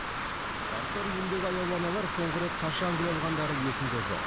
қарттар үйіндегі аяулы аналар соңғы рет қашан гүл алғандары есінде жоқ